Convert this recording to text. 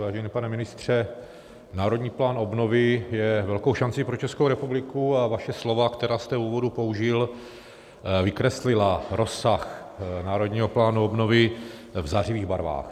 Vážený pane ministře, Národní plán obnovy je velkou šancí pro Českou republiku a vaše slova, která jste v úvodu použil, vykreslila rozsah Národního plánu obnovy v zářivých barvách.